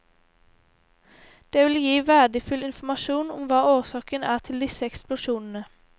Det vil gi verdifull informasjon om hva årsaken er til disse eksplosjonene.